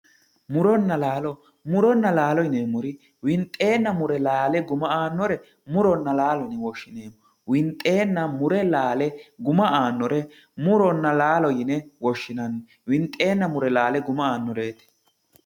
muronna laalo muronna laalo yineemori winxeena mure laale guma aannore murona laalo yine woshshineemo winxeena mure laale guma aannore murona laalo yine woshshineemo winxeena mure laale guma aannoreeti